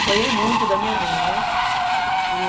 Apanhei muito da minha mãe, né? E